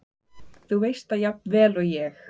Þú veist það jafnvel og ég.